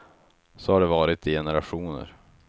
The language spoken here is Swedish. Så har det varit i generationer.